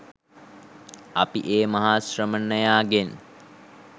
අපි ඒ මහා ශ්‍රමණයාගෙන්